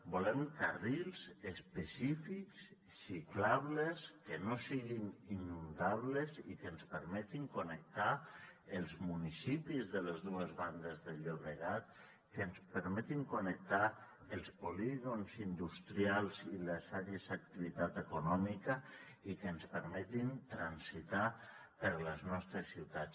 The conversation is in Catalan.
volem carrils específics ciclables que no siguin inundables i que ens permetin connectar els municipis de les dues bandes del llobregat que ens permetin connectar els polígons industrials i les àrees d’activitat econòmica i que ens permetin transitar per les nostres ciutats